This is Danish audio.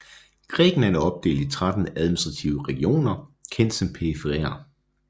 Grækenland er opdelt i 13 administrative regioner kendt som periferier